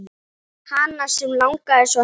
Hana sem langaði svo heim.